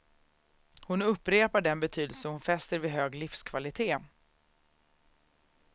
Hon upprepar den betydelse hon fäster vid hög livskvalitet.